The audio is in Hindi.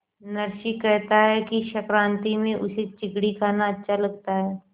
नरसी कहता है कि संक्रांति में उसे चिगडी खाना अच्छा लगता है